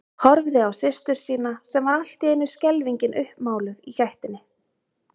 Horfði á systur sína sem var allt í einu skelfingin uppmáluð í gættinni.